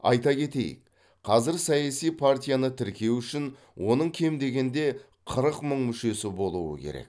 айта кетейік қазір саяси партияны тіркеу үшін оның кем дегенде қырық мың мүшесі болуы керек